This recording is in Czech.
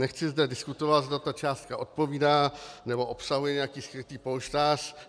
Nechci zde diskutovat, zda ta částka odpovídá, nebo obsahuje nějaký skrytý polštář.